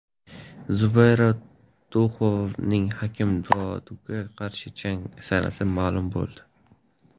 Zubayra Tuxugovning Hakim Douduga qarshi jangi sanasi ma’lum bo‘ldi.